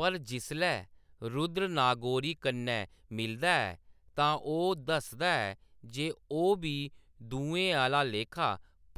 पर जिसलै रुद्र नागोरी कन्नै मिलदा ऐ, तां ओह्‌‌ दसदा ऐ जे ओह्‌‌ बी दुएं आह्‌ला लेखा